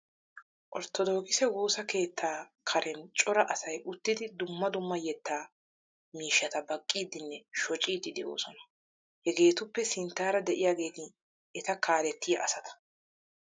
Orttodookise woosa keettaa karen cora asay uttidi dumma dumma yetta miishshata baqqiiddinne shociiddi de'oosona. Hegeetuppe sinttaara de'iyageeti eta kaaleettiya asata.